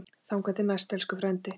Þangað til næst, elsku frændi.